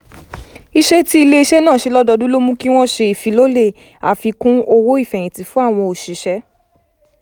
iṣẹ́ tí ilé-iṣẹ́ náà ń ṣe lọ́dọọdún ló mú kí wọ́n ṣe ìfilọ́lẹ̀ àfikún owó ìfẹ̀yìntì fún àwọn òṣìṣẹ́